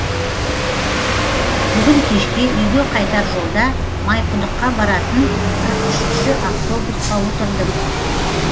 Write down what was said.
бүгін кешке үйге қайтар жолда майқұдыққа баратын қырық үшінші автобусқа отырдым